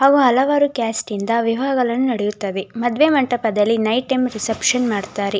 ಅವು ಹಲವಾರು ಕ್ಯಾಸ್ಟನಿಂದ ವಿವಾಹವನ್ನು ನಡೆಯುತ್ತವೆ ಮದುವೆ ಮಂಟಪದಲ್ಲಿ ನೈಟ್ ಟೈಮ್ ರಿಸೆಪ್ಶನ್ ಮಾಡ್ತಾರೆ.